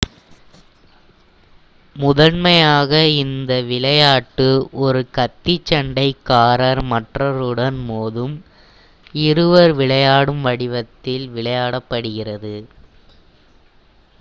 முதன்மையாக இந்த விளையாட்டு ஒருone கத்திச் சண்டைக் காரர் மற்றொருவருடன் மோதும் இருவர் விளையாடும் வடிவத்தில் விளையாடப்படுகிறது